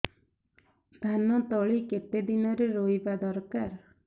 ଧାନ ତଳି କେତେ ଦିନରେ ରୋଈବା ଦରକାର